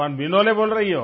कौन विनोले बोल रही हो